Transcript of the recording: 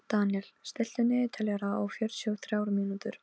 Deníel, stilltu niðurteljara á fjörutíu og þrjár mínútur.